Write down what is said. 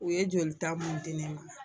U ye jolita mun di ne ma,